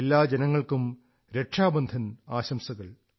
എല്ലാ ജനങ്ങൾക്കും രക്ഷാബന്ധൻ ആശംസകൾ